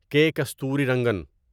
کے کستوریرنگن